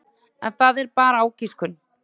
En það er bara ágiskun.